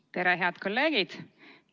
Tere, head kolleegid!